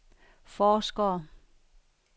forskere